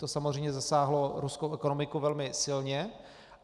To samozřejmě zasáhlo ruskou ekonomiku velmi silně.